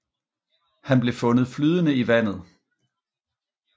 Han blev fundet flydende i vandet